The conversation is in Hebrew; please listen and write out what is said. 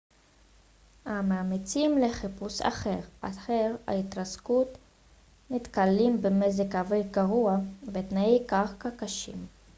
המאמצים לחיפוש אחר אתר ההתרסקות נתקלים במזג אוויר גרוע ותנאי קרקע קשים